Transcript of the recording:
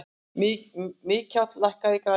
Mikjáll, lækkaðu í græjunum.